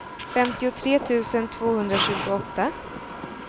femtiotre tusen tvåhundratjugoåtta